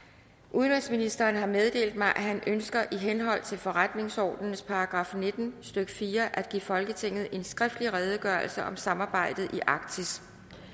udenrigsministeren har meddelt mig at han ønsker i henhold til forretningsordenens § nitten stykke fire at give folketinget en skriftlig redegørelse om samarbejdet i arktis